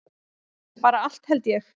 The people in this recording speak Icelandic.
Bara allt held ég.